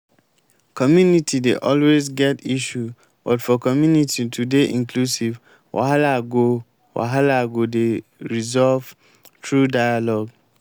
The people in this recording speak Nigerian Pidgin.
community dey always get issue but for community to dey inclusive wahala go wahala go dey resolved through dialogue